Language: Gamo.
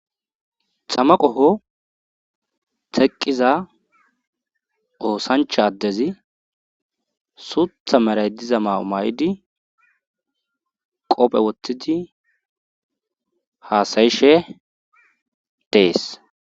Tama qoho teqqiza oosancha addezi suutha meray diza ma7o may7idi qopphe woththidi haasayishe dees.